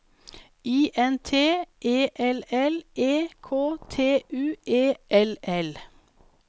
I N T E L L E K T U E L L